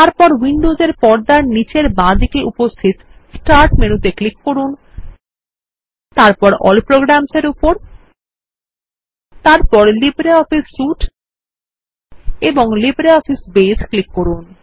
তারপর উইন্ডোজ এর পর্দার নিচের বাঁদিকে উপস্থিত স্টার্ট মেনুতে ক্লিক করুন তারপর এএলএল প্রোগ্রামস এর উপর তারপর লিব্রিঅফিস সুইতে এবং লিব্রিঅফিস বেস এ ক্লিক করুন